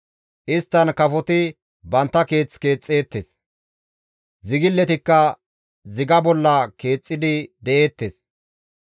Isttan kafoti bantta keeth keexxeettes; zigiletikka ziga bolla keexxidi de7eettes.